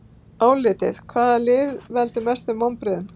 Álitið: Hvaða lið veldur mestum vonbrigðum?